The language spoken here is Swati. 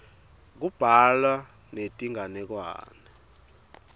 kubhalwa netinganekwane